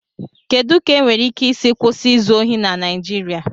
Kedu ka enwéré íké ísí kwụsị ízụ ohị na Naijiria?